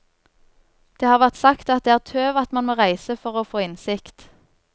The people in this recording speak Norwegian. Det har vært sagt at det er tøv at man må reise for å få innsikt.